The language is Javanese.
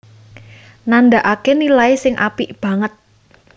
nandhakaké nilai sing apik banget